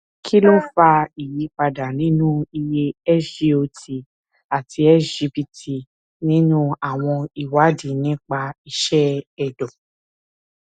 kí ló ń fa ìyípadà nínú iye sgot àti sgpt nínú àwọn ìwádìí nípa iṣẹ ẹdọ